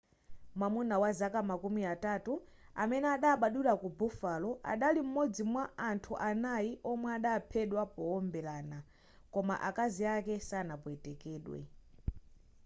mwamuna wa zaka makumi atatu amene adabadwila ku buffalo adali m'modzi mwa anthu anayi omwe adaphedwa powombelana koma akazi ake sanapwetekedwe